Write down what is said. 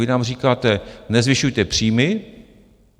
Vy nám říkáte: Nezvyšujte příjmy.